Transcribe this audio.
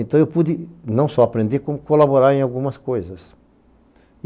Então eu pude não só aprender, como colaborar em algumas coisas.